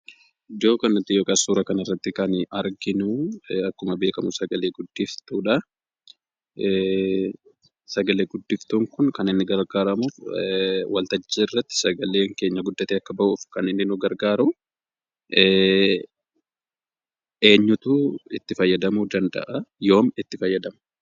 Iddoo kanatti yookaan suuraa kanarratti kan nuti arginu, akkuma beekamu sagalee guddiftuudha. Sagalee guddiftuun kun kan inni gargaaramuuf waltajjii irratti sagaleen keenya guddatee akka bahuuf kan inni nu gargaaru, eenyutu itti fayyadamuu danda'a? Yoom itti fayyadamu?